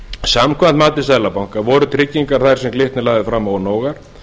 samkvæmt mati seðlabanka voru tryggingar þær sem glitnir lagði fram ónógar